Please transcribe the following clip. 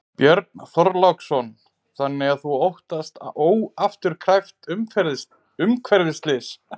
Björn Þorláksson: Þannig að þú óttast óafturkræft umhverfisslys?